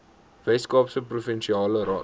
weskaapse provinsiale raad